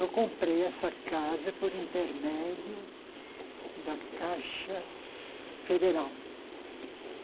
Eu comprei essa casa por intermédio da Caixa Federal.